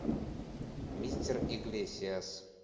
мистер иглесиас